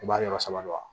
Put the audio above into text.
I b'a yɔrɔ sama dɔrɔn